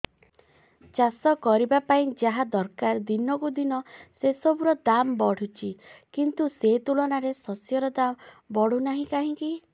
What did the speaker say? ଚାଷ କରିବା ପାଇଁ ଯାହା ଦରକାର ଦିନକୁ ଦିନ ସେସବୁ ର ଦାମ୍ ବଢୁଛି କିନ୍ତୁ ସେ ତୁଳନାରେ ଶସ୍ୟର ଦାମ୍ ବଢୁନାହିଁ କାହିଁକି